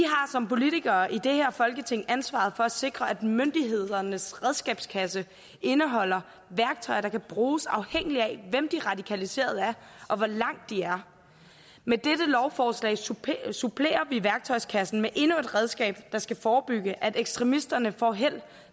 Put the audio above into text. som politikere i det her folketing ansvaret for at sikre at myndighedernes redskabskasse indeholder værktøj der kan bruges afhængigt af hvem de radikaliserede er og hvor langt de er med dette lovforslag supplerer supplerer vi værktøjskassen med endnu et redskab der skal forebygge at ekstremisterne får held